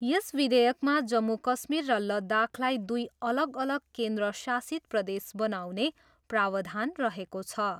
यस विधेयकमा जम्मू कश्मीर र लद्दाखलाई दुई अलग अलग केन्द्र शासित प्रदेश बनाउने प्रावधान रहेको छ।